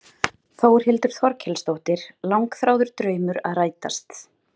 Þórhildur Þorkelsdóttir: Langþráður draumur að rætast?